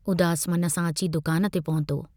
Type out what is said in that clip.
उदास मन सां अची दुकान ते पहुतो।